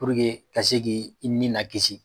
ka se k'i i ni lakisi